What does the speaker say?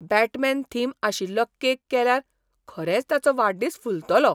Batman theme आशिल्लो cake केल्यार खरेंच ताचो वाडदीस फुलतलो!